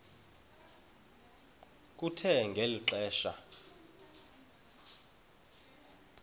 kuthe ngeli xesha